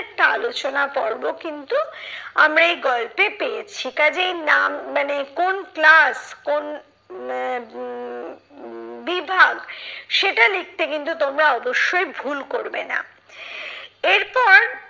একটা আলোচনা পর্ব কিন্তু আমরা এই গল্পে পেয়েছি। কাজেই নাম মানে কোন class কোন আহ উম উম বিভাগ সেটা লিখতে কিন্তু তোমরা অবশ্যই ভুল করবে না। এর পর